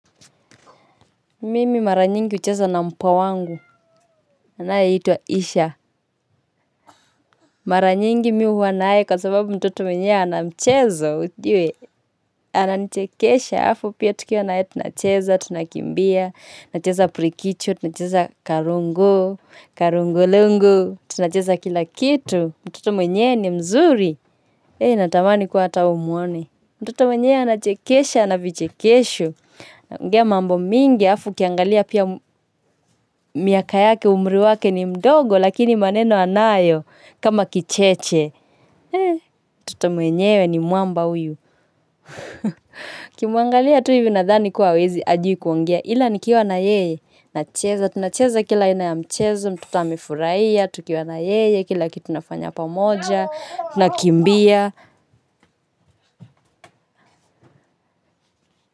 Mimi maranyingi hucheza na mpwa wangu, anaye itwa Isha. Maranyingi mimi huwanaye kwa sababu mtoto mwenyewe anamchezo, ujue, ananichekesha halafu pia tukiwa nae tunacheza, tunakimbia, nacheza pirikicho, tunacheza karongo, karongolongo, tunacheza kilakitu, mtoto mwenyewe ni mzuri. Hee natamani kuwa atawewe umwone. Mtotomwenyewe ana chekesha ana vichekesho. Ongea mambo mingi alafu ukiangalia pia miaka yake umri wake ni mdogo lakini maneno anayo kama kicheche. Eee mtotomwenyewe ni mwamba huyu. Ukimwangalia tu hiviunadhani kuwa hawezi hajui kuongea ila nikiwa na yeye na cheza. Tunacheza kila aina ya mchezo, mtotoamefurahiya, tukiwa na yeye, kila kitu tunafanya pa moja, tunakimbia.